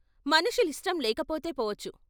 "మనుషులిష్టం లేకపోతే పోవచ్చు.